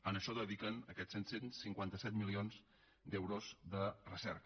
a això dediquen aquests set cents i cinquanta set milions d’euros de recerca